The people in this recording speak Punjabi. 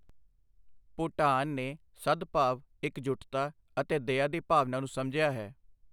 ਭੂਟਾਨ ਨੇ ਸਦਭਾਵ, ਇਕਜੁੱਟਤਾ ਅਤੇ ਦਇਆ ਦੀ ਭਾਵਨਾ ਨੂੰ ਸਮਝਿਆ ਹੈ।